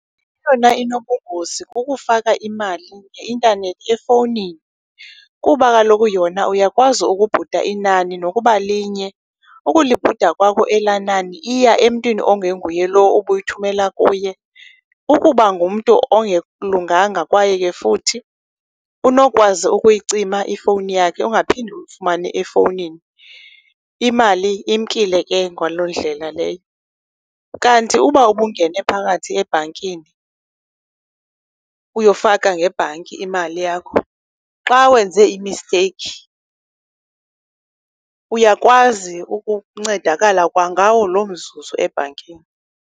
Eyona inobungozi kukufaka imali ngeintanethi efowunini kuba kaloku yona uyakwazi ukubhuda inani nokuba linye. Ukulibhuda kwakho elaa nani iya emntwini ongenguye lowo ubuyithumela kuye. Ukuba ngumntu ongelunganga kwaye ke futhi unokwazi ukuyicima ifowuni yakhe ungaphinde umfumane efowunini, imali imkile ke ngaloo ndlela leyo. Kanti uba ubungene phakathi ebhankini uyofaka ngebhanki imali yakho, xa wenze imisteyikhi uyakwazi ukuncedakala kwangawo loo mzuzu ebhankini.